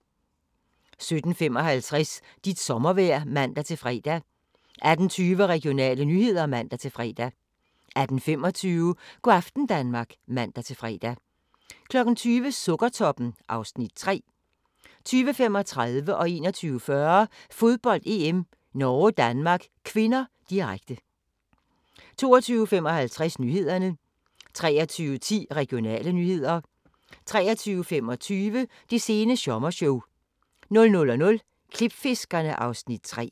17:55: Dit sommervejr (man-fre) 18:20: Regionale nyheder (man-fre) 18:25: Go' aften Danmark (man-fre) 20:00: Sukkertoppen (Afs. 3) 20:35: Fodbold: EM - Norge-Danmark (k), direkte 21:40: Fodbold: EM - Norge-Danmark (k), direkte 22:55: Nyhederne 23:10: Regionale nyheder 23:25: Det sene sommershow 00:00: Klipfiskerne (Afs. 3)